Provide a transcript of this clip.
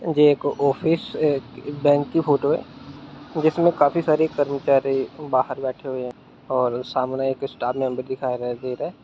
ये एक office bank की फोटो हैं जिसमें काफी सारे कर्मचारी बाहर जाके और सामने एक स्टाफ मेंबर दिखाई दे रहा हैं।